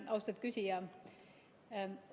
Austatud küsija!